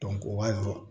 o b'a jɔ